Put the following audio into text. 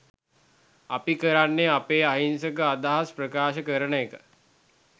අපි කරන්නේ අපේ අහිංසක අදහස් ප්‍රකාශ කරන එක.